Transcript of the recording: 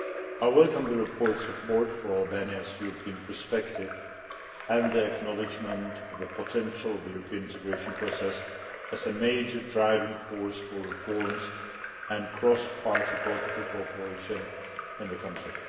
I welcome the report's support for Albania's European perspective and the acknowledgement of the potential of the European integration process as a major driving force for reforms and cross party political cooperation in the country.